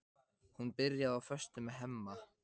Hún byrjaði á föstu með Hemma.